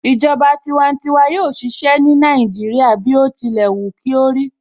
Ìjọba tiwantiwa yóò ṣiṣẹ́ ní Nàìjíríà bí ó tilẹ̀ wù kí ó rí